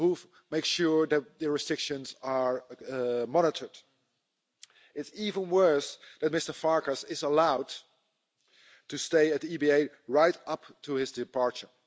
Who makes sure that the restrictions are monitored? It's even worse that Mr Farkas is allowed to stay at the EBA right up to his departure.